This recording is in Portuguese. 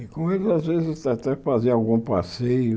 E com eles às vezes até fazia algum passeio.